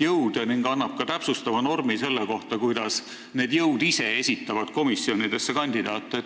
jõude proportsionaalselt kajastada, ning annaks ka täpsustava normi selle kohta, kuidas need jõud ise esitavad komisjonidesse kandidaate?